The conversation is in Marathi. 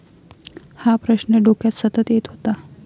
हा प्रश्न डोक्यात सतत येत होता.